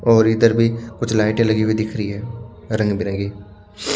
और इधर भी कुछ लाइटे लगी हुई दिख रही हैं रंग भिरंगी--